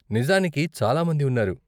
నిజానికి చాలా మంది ఉన్నారు.